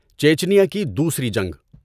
چیچینیا کی دوسری جنگ۔